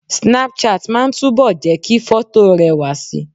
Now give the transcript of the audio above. Snapchat máa ń túbọ̀ jẹ́ kí fọ́tò rẹwà si